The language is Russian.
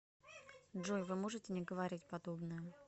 джой вы можете не говорить подобное